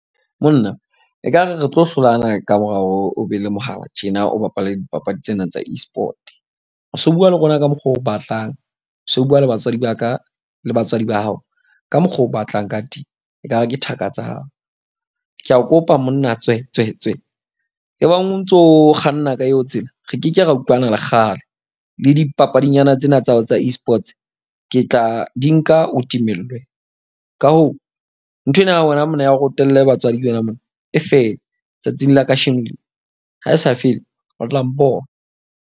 Monna ekare re tlo hlolana ka morao, o be le mohala tjena o bapalang dipapadi tsena tsa Esport. O so o bua le rona ka mokgo o batlang. O so o bua le batswadi ba ka le batswadi ba hao ka mokgo o batlang ka teng. Ekare ke thaka tsa hao. Ke a o kopa monna tswetswe tswe ebang o ntso kganna ka eo tsela. Re keke ra utlwana le kgale le dipapadinyana tsena tsa hao tsa Esports. Ke tla di nka o timellwe. Ka hoo, nthwena ya wena mona ya hore o tella batswadi wena mona e fele tsatsing la kasheno lena. Ha e sa fele, o tla mpona.